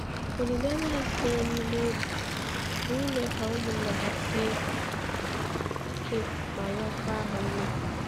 Olileanya ha sitere n’ime obi bụ ime ka ụmụnna ha sie ike ma rịọkwa ha ume.